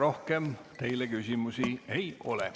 Rohkem teile küsimusi ei ole.